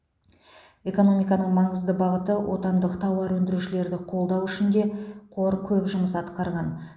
экономиканың маңызды бағыты отандық тауар өндірушілерді қолдау үшін де қор көп жұмыс атқарған